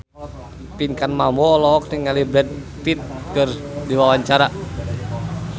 Pinkan Mambo olohok ningali Brad Pitt keur diwawancara